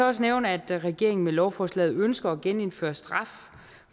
også nævne at regeringen med lovforslaget ønsker at genindføre straf